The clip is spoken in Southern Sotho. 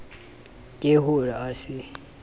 ke ho re a se